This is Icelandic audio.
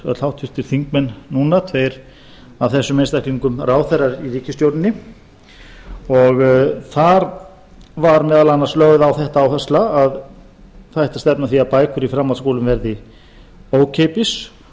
öll háttvirtir þingmenn núna tveir af þessum einstaklingum ráðherrar í ríkisstjórninni og þar var meðal annars lögð á þetta áhersla að það ætti að stefna að því að bækur í framhaldsskólum yrðu ókeypis og